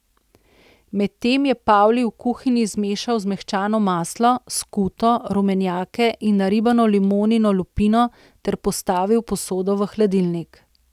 Medtem je Pavli v kuhinji zmešal zmehčano maslo, skuto, rumenjake in naribano limonino lupino ter postavil posodo v hladilnik.